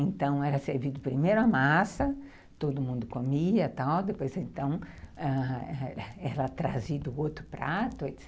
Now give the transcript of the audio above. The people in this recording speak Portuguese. Então era servido primeiro a massa, todo mundo comia, depois então era trazido outro prato, etc.